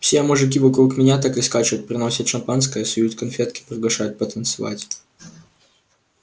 все мужики вокруг меня так и скачут приносят шампанское суют конфетки приглашают потанцевать